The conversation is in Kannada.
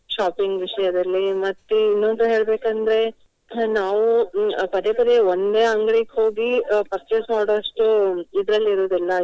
Shopping ವಿಷಯದಲ್ಲಿ ಮತ್ತೆ ಇನ್ನೊಂದು ಹೇಳ್ಬೇಕಂದ್ರೆ ನಾವು ಅಹ್ ಪದೇ ಪದೇ ಒಂದೇ ಅಂಗಡಿಗೆ ಹೋಗಿ ಅಹ್ purchase ಮಾಡುವಷ್ಟು ಇದ್ರಲ್ಲಿ ಇರುವುದಿಲ್ಲ.